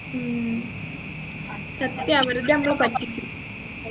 ഉം സത്യാ വെറുതെ നമ്മളെ പറ്റിക്കും